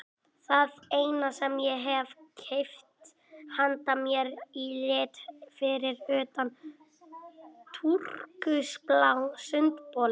Það eina sem ég hef keypt handa mér í lit fyrir utan túrkisbláa sundbolinn.